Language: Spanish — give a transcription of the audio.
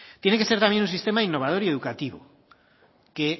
tiene que ser también un sistema innovador y educativo que